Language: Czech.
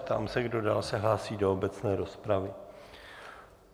Ptám se, kdo dál se hlásí do obecné rozpravy.